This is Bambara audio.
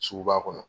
Sugu ba kɔnɔ